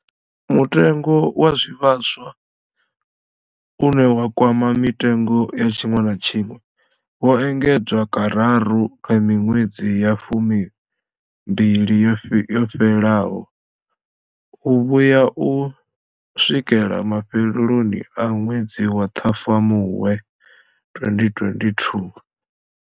Mutengo wa zwivhaswa, une wa kwama mitengo ya tshiṅwe na tshiṅwe, wo engedzwa kararu kha miṅwedzi ya fumimbili yo fhelaho u vhuya u swikela mafheloni a ṅwedzi wa Ṱhafamuhwe 2022.